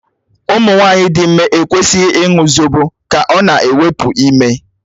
Ụmụ nwanyị dị ime ekwesịghị ịṅụ zobo ka ọ na-ewepụ ime.